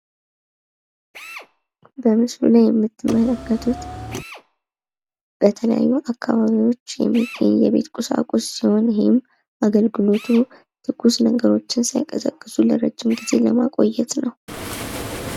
በምስሉ ላይ የምትመለከቱት በተለያዩ አካባቢዎች የሚገኝ የቤት ቁሳቁስ ሲሆን ይህም አገልግሎቱ ትኩስ ነገሮችን ሳይቀዘቅዙ ለረጅም ጊዜ ለማቆየት ነው።